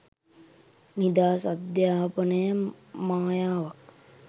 නිදහස් අධ්‍යාපනය මායාවක්